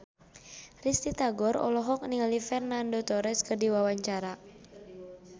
Risty Tagor olohok ningali Fernando Torres keur diwawancara